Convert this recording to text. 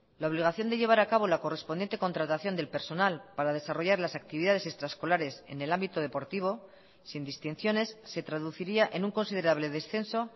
la obligación de llevar a cabo la correspondiente contratación del personal para desarrollar las actividades extraescolares en el ámbito deportivo sin distinciones se traduciría en un considerable descenso